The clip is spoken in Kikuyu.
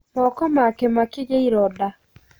Moko make makĩ gia iroda